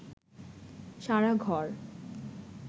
সারা ঘর